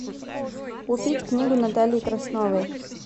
купить книгу натальи красновой